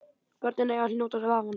Börnin eiga að njóta vafans.